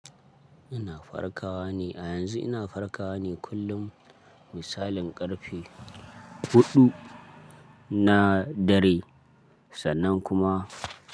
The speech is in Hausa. Ina farkawa ne a yanzu ina farkawa ne kullum misalin ƙarfe huɗu na dare sannan kuma.